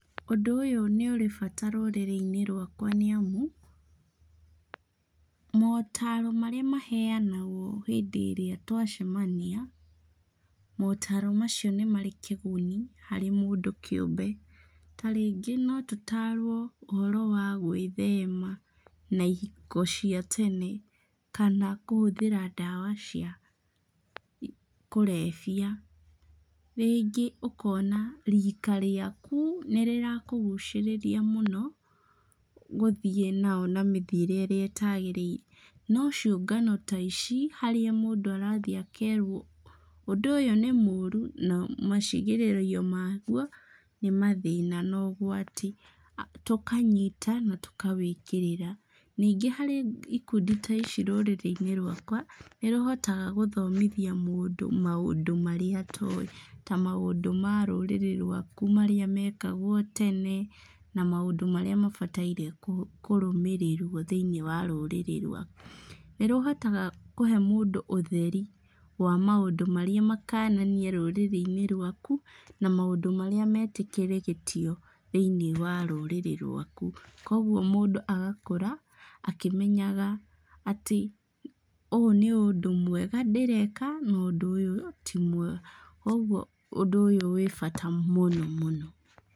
Ũndũ ũyũ nĩ ũrĩ bata rũrĩrĩ-inĩ rwakwa nĩ amu, motaro marĩa maheanagwo hĩndĩ ĩrĩa twacemania, motaaro macio nĩmarĩ kĩguni harĩ mũndũ kĩũmbe, ta rĩngĩ no tũtarwo ũhoro wa gwĩthema na ihiko cia tene, kana kũhũthĩra ndawa cia kũrebia, rĩngĩ ũkona rika rĩaku nĩ rĩra kũgucĩrĩria mũno, gũthiĩ nao na mĩthiĩre ĩrĩa ĩtagĩrĩire, no ciũngano ta ici harĩa mũndũ arathiĩ akerwo ũndũ ũyũ nĩ mũru, na macigĩrĩrio maguo nĩ mathĩna na ũgwati, tũkanyita na tũkawĩkĩrĩra, ningĩ harĩ ikundi ta ici rũrĩrĩ-inĩ rwakwa nĩ rũhotaga gũthomithia mũndũ maũndũ marĩa atoĩ, ta maũndũ ma rũrĩrĩ rwaku marĩa mekagwo tene, na maũndũ marĩa mabataire kũrũmĩrĩrwo thĩiniĩ wa rũrĩrĩ rwaku, nĩ rũhotaga kũhe mũndũ ũtheri wa maũndũ marĩa makananie rũrĩrĩ-inĩ rwaku ,na maũndũ marĩa metĩkĩrĩtio thĩiniĩ wa rũrĩrĩ rwaku, kũguo mũndũ agakũra, akĩmenyaga atĩ ,ũũ nĩ ũndũ mwega ndĩreka na ũndũ ũyũ ti mwega kũguo ũndũ wĩ bata mũno mũno.